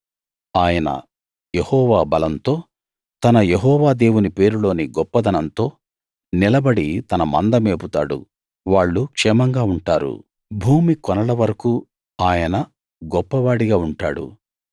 ఆయన యెహోవా బలంతో తన యెహోవా దేవుని పేరులోని గొప్పదనంతో నిలబడి తన మంద మేపుతాడు వాళ్ళు క్షేమంగా ఉంటారు భూమి కొనల వరకూ ఆయన గొప్పవాడిగా ఉంటాడు